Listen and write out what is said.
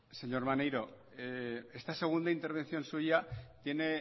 señor maneiro esta segunda intervención suya tiene